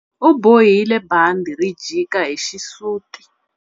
U bohile bandhi ri jika hi xisuti.